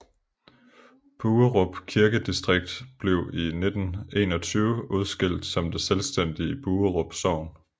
Buerup Kirkedistrikt blev i 1921 udskilt som det selvstændige Buerup Sogn